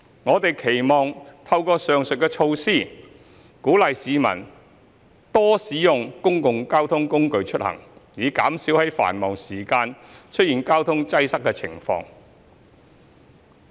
我們期望透過上述措施，鼓勵市民多使用公共交通工具出行，以減少在繁忙時間出現交通擠塞的情況。